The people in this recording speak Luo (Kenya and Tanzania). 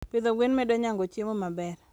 . Pidho gwen medo nyago chiemo maber.